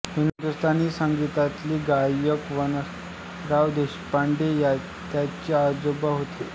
हिंदुस्तानी संगीतातील गायक वसंतराव देशपांडे त्यांचे आजोबा होते